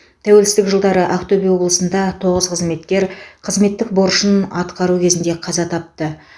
тәуелсіздік жылдары ақтөбе облысында тоғыз қызметкер қызметтік борышын атқару кезінде қаза тапты